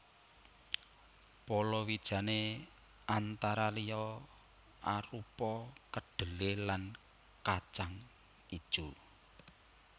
Palawijane antara liya arupa kedhelé lan kajang ijo